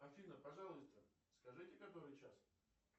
афина пожалуйста скажите который час